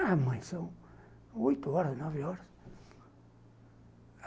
Ah, mãe, são oito horas, nove horas.